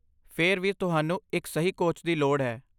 ਫੇਰ ਵੀ ਤੁਹਾਨੂੰ ਇੱਕ ਸਹੀ ਕੋਚ ਦੀ ਲੋੜ ਹੈ